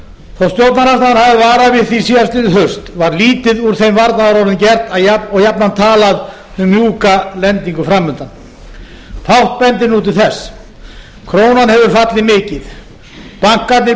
þó stjórnarandstaðan hafi varað við því síðastliðið haust var lítið úr þeim varnaðarorðum gert og jafnan talað um mjúka lendingu framundan fátt bendir nú til þess krónan hefur fallið mikið bankarnir búa